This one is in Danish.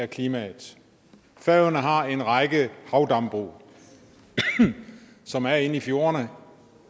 klimaet færøerne har en række havdambrug som er inde i fjordene